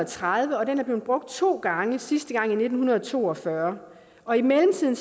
tredive og den er blevet brugt to gange sidste gang i nitten to og fyrre og i mellemtiden